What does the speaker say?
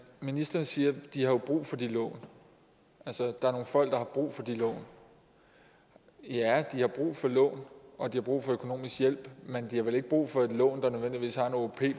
ministeren siger at de har brug for de lån altså at der er nogle folk der har brug for de lån ja de har brug for lån og de har brug for økonomisk hjælp men de har vel ikke brug for et lån der nødvendigvis har en åop